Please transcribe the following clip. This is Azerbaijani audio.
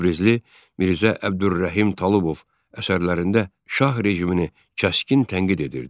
Təbrizli Mirzə Əbdürrəhim Talıbov əsərlərində Şah rejimini kəskin tənqid edirdi.